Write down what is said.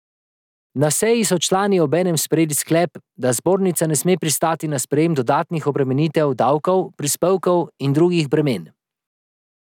Na seji so člani obenem sprejeli sklep, da zbornica ne sme pristati na sprejem dodatnih obremenitev, davkov, prispevkov in drugih bremen.